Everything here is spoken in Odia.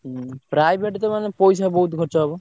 ହୁଁ private ତ ମାନେ ପଇସା ବହୁତ୍ ଖର୍ଚ ହବ?